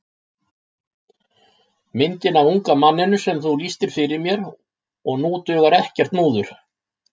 Myndina af unga manninum sem þú lýstir fyrir mér og nú dugar ekkert múður.